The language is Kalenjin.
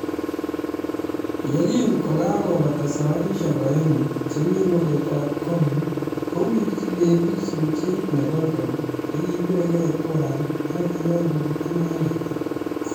Ye kin kokagobata sabarishek aeng'u chebi keretab kong',Kowirchi Davis luchet ne kolkol nekibiregei tuan ak kiyai kobut inendet.